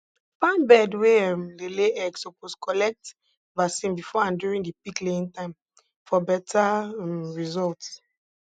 farm bird wey um dey lay egg suppose collect vaccine before and during di peak laying time for betta um results